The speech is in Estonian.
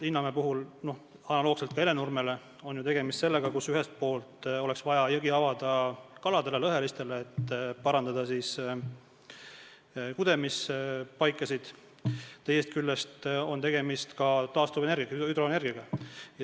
Linnamäe puhul analoogselt Hellenurmega on tegemist ju sellega, et ühelt poolt oleks vaja jõgi avada kaladele, lõhelistele, et parandada kudemisvõimalusi, teisest küljest on tegemist taastuvenergiaga, hüdroenergiaga.